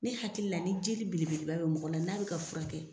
Ne hakili la ni jeli belebeleba bɛ mɔgɔ la, n'a bi ka furakɛ